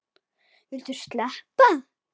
Viltu sleppa!